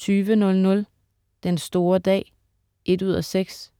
20.00 Den store dag 1:6.